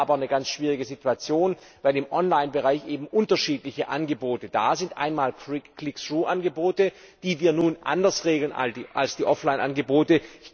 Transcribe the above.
Wir haben hier aber eine ganz schwierige Situation, weil im Online Bereich eben unterschiedliche Angebote da sind, einmal Click through Angebote, die wir nun anders regeln als die Offline Angebote.